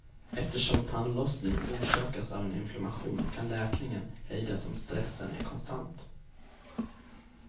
Eftersom tandlossning orsakas av en inflammation kan läkningen hejdas om stressen är konstant.